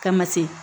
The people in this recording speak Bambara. Kama se